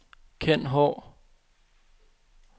Kenn Haahr